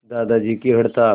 दादाजी की हड़ताल